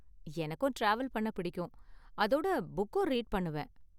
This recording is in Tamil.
எனக்கும் டிராவல் பண்ண புடிக்கும், அதோட புக்கும் ரீட் பண்ணுவேன்.